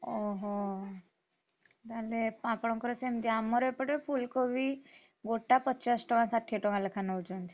ଓହୋ! ତାହେଲେ ଆପଣଙ୍କର ସେମିତି ଆମର ଏପଟେ ଫୁଲକୋବି, ଗୋଟା ପଚାଶ ଟଙ୍କା ଷାଠିଏ ଟଙ୍କା ଲେଖା ନଉଛନ୍ତି।